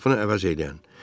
O qapını əvəz eləyən.